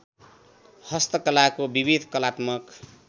हस्तकलाको विविध कलात्मक